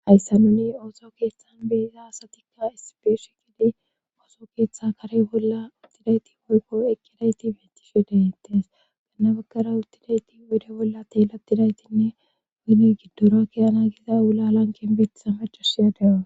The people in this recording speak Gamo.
hayssa nuni ooso keeththan beeza asatikka isipeshi gidi ooso keeththa kare bolla uttidayti wolko eqqedayti bentishudentes ganna bagara uttidayti wede bolla teelatidaytinne eyne giddorakiy ana giza ulalanken beettisa macashiyaade7aa